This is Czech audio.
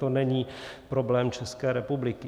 To není problém České republiky.